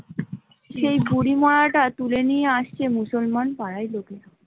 সেই বুড়ি মড়া টা তুলে নিয়ে আসছে মুসলমান ।